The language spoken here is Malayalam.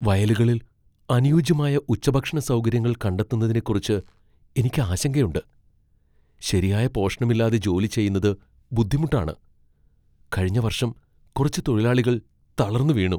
വയലുകളിൽ അനുയോജ്യമായ ഉച്ചഭക്ഷണ സൗകര്യങ്ങൾ കണ്ടെത്തുന്നതിനെക്കുറിച്ച് എനിക്ക് ആശങ്കയുണ്ട്. ശരിയായ പോഷണമില്ലാതെ ജോലി ചെയ്യുന്നത് ബുദ്ധിമുട്ടാണ്, കഴിഞ്ഞ വർഷം കുറച്ച് തൊഴിലാളികൾ തളർന്നു വീണു.